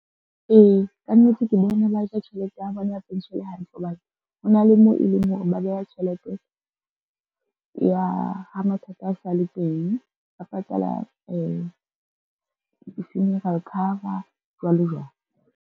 Ee, kannete ke bona ba ja tjhelete ya bona ya pension-e hantle hobane, ho na le moo e leng hore ba beha tjhelete ya ha mathata a sa le teng, ba patala di-funeral cover jwalo jwalo.